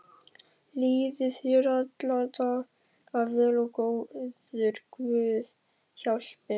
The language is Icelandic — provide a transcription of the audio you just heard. Líði þér alla daga vel og góður guð hjálpi þér.